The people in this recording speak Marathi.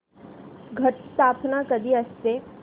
घट स्थापना कधी असते